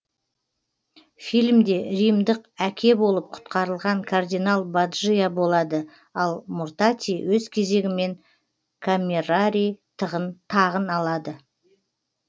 фильмде римдық әке болып құтқарылған кардинал баджиа болады ал мортати өз кезегімен камерарий тағын алады